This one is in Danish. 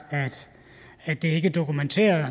at det ikke er dokumenteret og